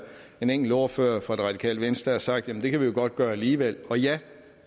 en enkelt ordfører fra radikale venstre sagt at det kan vi godt gøre alligevel ja